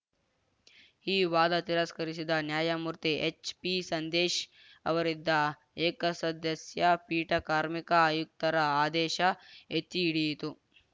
ಈ ವಾದ ತಿರಸ್ಕರಿಸಿದ ನ್ಯಾಯಮೂರ್ತಿ ಎಚ್‌ಪಿಸಂದೇಶ್‌ ಅವರಿದ್ದ ಏಕಸದಸ್ಯ ಪೀಠ ಕಾರ್ಮಿಕ ಆಯುಕ್ತರ ಆದೇಶ ಎತ್ತಿಹಿಡಿಯಿತು